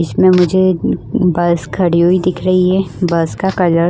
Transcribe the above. बीच में मुझे बस खड़ी हुई दिख रही है बस का कलर --